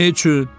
Niyə üçün?